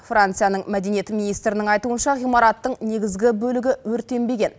францияның мәдениет министрінің айтуынша ғимараттың негізгі бөлігі өртенбеген